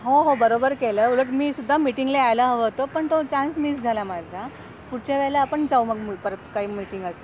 हो हो बरोबर केल्या वर मी सुद्धा मिटिंग ला आला होता पण तो चान्स झाला माझा पुढच्या वेळी आपण जाऊ मग काही मीटिंग असेल तर.